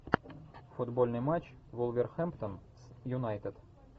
футбольный матч вулверхэмптон с юнайтед